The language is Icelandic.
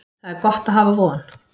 Það er gott að hafa von.